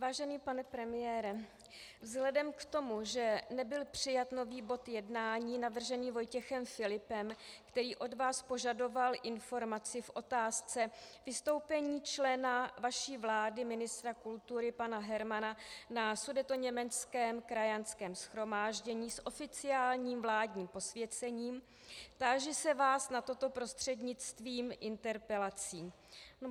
Vážený pane premiére, vzhledem k tomu, že nebyl přijat nový bod jednání navržený Vojtěchem Filipem, který od vás požadoval informaci v otázce vystoupení člena vaší vlády, ministra kultury pana Hermana, na sudetoněmeckém krajanském shromáždění s oficiálním vládním posvěcením, táži se vás na toto prostřednictvím interpelací.